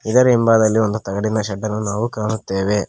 ಇದರ ಹಿಂಭಾಗದಲ್ಲಿ ಒಂದು ತಗಡಿನ ಶೆಡ್ಡನ್ನು ನಾವು ಕಾಣುತ್ತೇವೆ.